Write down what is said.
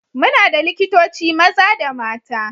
Muna da likitoci maza da mata.